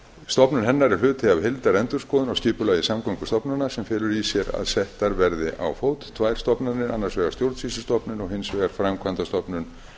stofnun hennar er hluti af heildarendurskoðun á skipulagi samgöngustofnunar sem felur í sér að settar verði á fót tvær stofnanir annars vegar stjórnsýslustofnun og hins vegar framkvæmdastofnun